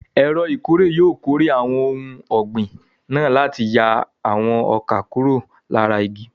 Ẹ̀rọ ìkórè yóò kórè àwọn ohun ọ̀gbìn náà láti yà àwọn ọkà kúrò lára igi.